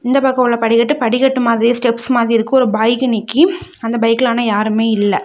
இந்த பக்க உள்ள படிக்கட்டு படிக்கட்டு மாதிரியே ஸ்டெப்ஸ் மாதிரி இருக்கு ஒரு பைக் நிக்கி அந்த பைக்ல ஆனா யாருமே இல்ல.